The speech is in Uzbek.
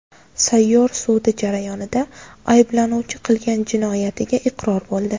Sayyor sud jarayonida ayblanuvchi qilgan jinoyatiga iqror bo‘ldi.